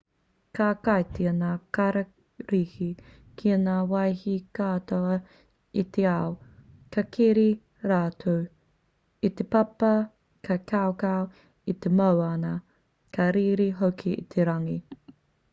ka kitea ngā kararehe ki ngā wahi katoa o te ao ka keri rātou i te papa ka kaukau i te moana ka rere hoki i te rangi